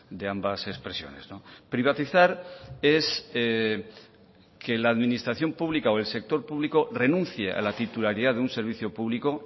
de ambas expresiones privatizar es que la administración pública o que el sector público renuncie a la titularidad de un servicio público